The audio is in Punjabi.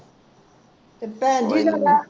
ਤੇ ਭੈਣ ਜੀ ਤੁਹਾਡਾ